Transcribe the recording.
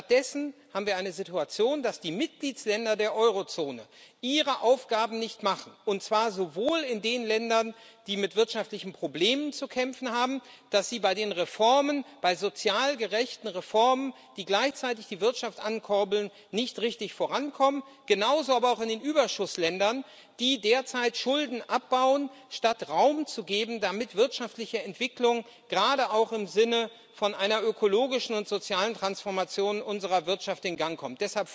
Stattdessen haben wir eine Situation, dass die Mitgliedsländer der Eurozone ihre Aufgaben nicht machen, und zwar sowohl in den Ländern, die mit wirtschaftlichen Problemen zu kämpfen haben, die bei den Reformen, bei sozial gerechten Reformen, die gleichzeitig die Wirtschaft ankurbeln, nicht richtig vorankommen, genauso aber auch in den Überschussländern, die derzeit Schulden abbauen, statt Raum zu geben, damit wirtschaftliche Entwicklung gerade auch im Sinne von einer ökologischen und sozialen Transformation unserer Wirtschaft in Gang kommt.